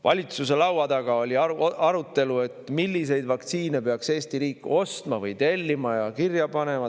Valitsuse laua taga oli arutelu, milliseid vaktsiine peaks Eesti riik ostma või tellima, kirja panema.